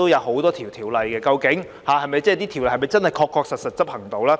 很多條例都靠政府執行，究竟這些條例是否真的確確實實獲得執行呢？